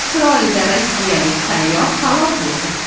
Isroilda rossiyalik sayyoh halok bo‘ldi.